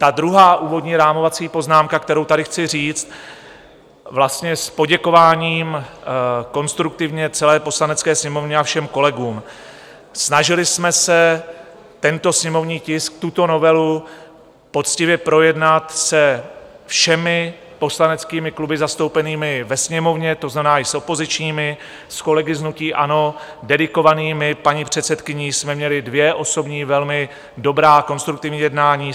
Ta druhá úvodní rámovací poznámka, kterou tady chci říct vlastně s poděkováním konstruktivně celé Poslanecké sněmovně a všem kolegům: Snažili jsme se tento sněmovní tisk, tuto novelu poctivě projednat se všemi poslaneckými kluby zastoupenými ve Sněmovně, to znamená i s opozičními, s kolegy z hnutí ANO, dedikovanými paní předsedkyní, jsme měli dvě osobní velmi dobrá, konstruktivní jednání.